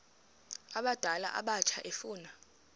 abadala abatsha efuna